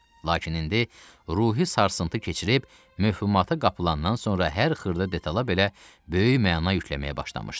Lakin indi ruhi sarsıntı keçirib möhümata qapılandan sonra hər xırda detala belə böyük məna yükləməyə başlamışdı.